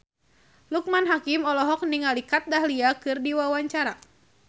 Loekman Hakim olohok ningali Kat Dahlia keur diwawancara